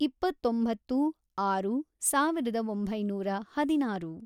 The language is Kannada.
ಇಪ್ಪತ್ತೊಂಬತ್ತು, ಆರು, ಸಾವಿರದ ಒಂಬೈನೂರ ಹದಿನಾರು